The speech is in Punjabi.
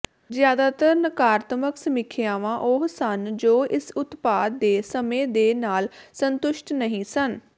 ਜ਼ਿਆਦਾਤਰ ਨਕਾਰਾਤਮਕ ਸਮੀਖਿਆਵਾਂ ਉਹ ਸਨ ਜੋ ਇਸ ਉਤਪਾਦ ਦੇ ਸਮੇਂ ਦੇ ਨਾਲ ਸੰਤੁਸ਼ਟ ਨਹੀਂ ਸਨ